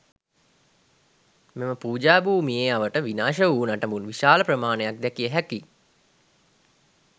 මෙම පූජා භූමියේ අවට විනාශ වූ නටඹුන් විශාල ප්‍රමාණයක් දැකිය හැකියි.